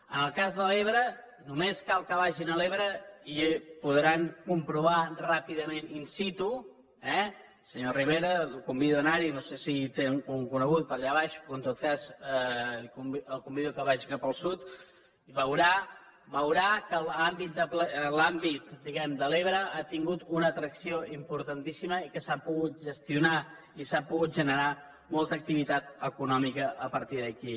en el cas de l’ebre només cal que vagin a l’ebre i ho podran comprovar ràpidament in siturivera el convido a anar hi no sé si hi té algun conegut per allà baix però en tot cas el convido que vagi cap al sud i veurà que l’àmbit de l’ebre ha tingut una atracció importantíssima i que s’ha pogut gestionar i s’ha pogut generar molta activitat econòmica a partir d’aquí